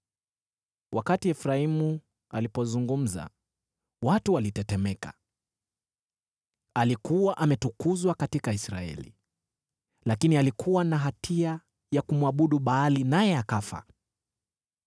Wakati Efraimu alipozungumza, watu walitetemeka, alikuwa ametukuzwa katika Israeli. Lakini alikuwa na hatia ya kumwabudu Baali naye akafa.